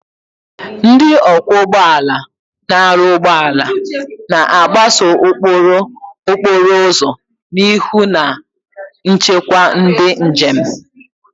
Ndị ọkwọ ụgbọ ala na-arụ ụgbọ ala, na-agbaso ụkpụrụ okporo ụzọ na ịhụ na nchekwa ndị njem.